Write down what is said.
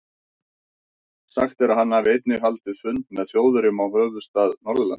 Sagt er, að hann hafi einnig haldið fund með Þjóðverjum í höfuðstað Norðurlands.